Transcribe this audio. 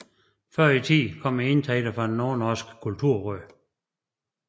Før i tiden kom indtægterne fra Nordnorsk Kulturråd